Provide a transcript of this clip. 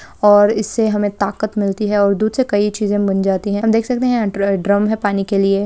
और इससे हमें ताकत मिलती है और दूध से कई चीजे बन जाती है हम देख सकते है यहाँ ड्र-ड्रम है पानी के लिए।